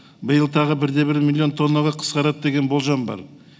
биыл тағы бір де бір млн тоннаға қысқарады деген болжам бар